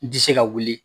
N tɛ se ka wuli